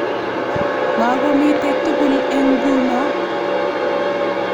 Magomitei tugul eng nguno